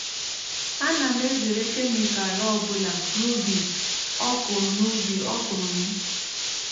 ana m ezere kemịkal ọ bụla n’ubi ọkụrụ n’ubi ọkụrụ m.